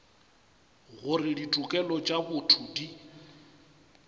gore ditokelo tša botho di